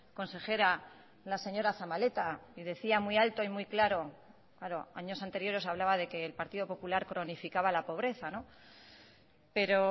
consejera la señora zabaleta y decía muy alto y muy claro claro años anteriores hablaba de que el partido popular cronificaba la pobreza pero